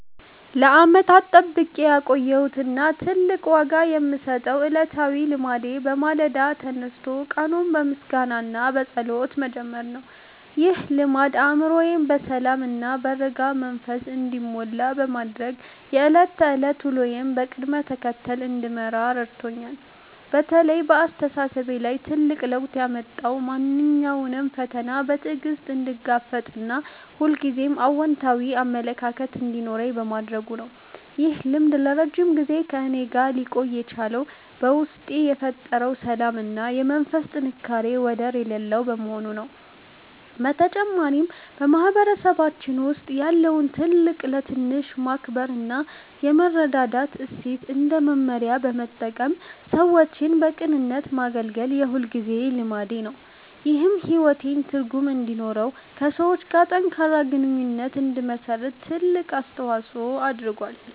ለዓመታት ጠብቄ ያቆየሁት እና ትልቅ ዋጋ የምሰጠው ዕለታዊ ልማዴ በማለዳ ተነስቶ ቀኑን በምስጋና እና በጸሎት መጀመር ነው። ይህ ልማድ አእምሮዬ በሰላም እና በረጋ መንፈስ እንዲሞላ በማድረግ የዕለት ተዕለት ውሎዬን በቅደም ተከተል እንድመራ ረድቶኛል። በተለይ በአስተሳሰቤ ላይ ትልቅ ለውጥ ያመጣው ማንኛውንም ፈተና በትዕግስት እንድጋፈጥ እና ሁልጊዜም አዎንታዊ አመለካከት እንዲኖረኝ በማድረጉ ነው። ይህ ልማድ ለረጅም ጊዜ ከእኔ ጋር ሊቆይ የቻለው በውስጤ የፈጠረው ሰላም እና የመንፈስ ጥንካሬ ወደር የሌለው በመሆኑ ነው። በተጨማሪም፣ በማህበረሰባችን ውስጥ ያለውን ትልቅ ለትንሽ የማክበር እና የመረዳዳት እሴት እንደ መመሪያ በመጠቀም ሰዎችን በቅንነት ማገልገል የሁልጊዜ ልማዴ ነው። ይህም ሕይወቴ ትርጉም እንዲኖረውና ከሰዎች ጋር ጠንካራ ግንኙነት እንድመሰርት ትልቅ አስተዋጽኦ አድርጓል።